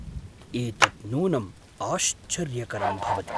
एतत् नूनम् आश्चर्यकरं भवति!